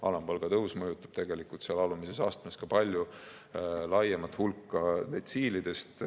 Alampalga tõus mõjutab tegelikult seal alumises astmes ka palju laiemat hulka detsiilidest.